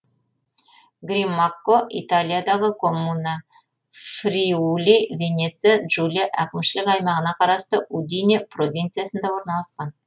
гримакко италиядағы коммуна фриули венеция джулия әкімшілік аймағына қарасты удине провинциясында орналасқан